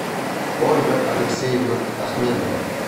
ольга алексеевна ахменова